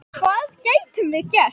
Hvað gætum við gert?